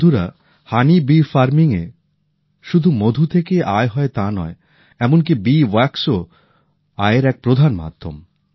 বন্ধুরা মৌমাছি প্রতিপালনে শুধু মধু থেকেই আয় হয় তা নয় এমন কি মৌচাকের মোমও আয়ের এক প্রধান মাধ্যম